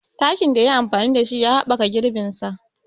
Takin da ya yi amfani da shi ya haɓɓaka girbin sa.